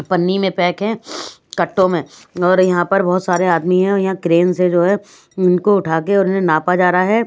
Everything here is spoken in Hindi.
पन्नी में पैक है कट्टों में और यहाँ पर बहुत सारे आदमी हैं और यहाँ क्रेन से जो है इनको उठा के और इन्हें नापा जा रहा है।